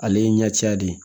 Ale ye ɲɛca de ye